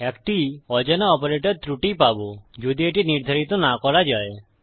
একটি অজানা অপারেটর ত্রুটি পাবো যদি এটি নির্ধারিত না করা যায়